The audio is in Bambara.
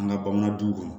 An ka bamanan duw kɔnɔ